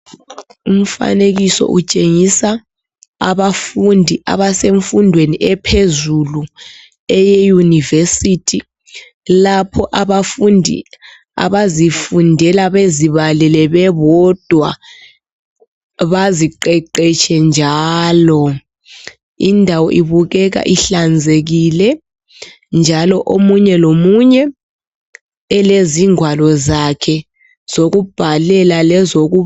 Umfanekiso utshengisa abafundi abasezifundweni ephezulu eye university lapho abafundi abazifundela bezibalele bebodwa baziqeqetshe njalo indawo ibukeka inhlanzekile njalo omunye lomunye elezingwalo zakhe zokubhalela.